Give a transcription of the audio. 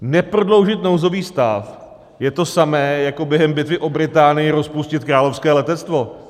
Neprodloužit nouzový stav je to samé jako během bitvy o Británii rozpustit Královské letectvo.